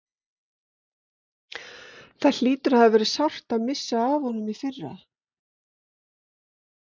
Það hlýtur að hafa verið sárt að missa af honum í fyrra?